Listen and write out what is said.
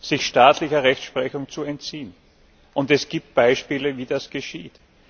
sich staatlicher Rechtsprechung zu entziehen. Es gibt Beispiele, wie das geschieht.